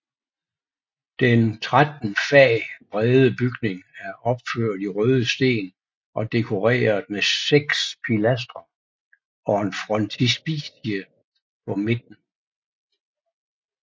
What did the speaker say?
Den tretten fag brede bygning er opført i røde sten og dekoreret med seks pilastre og en frontispice på midten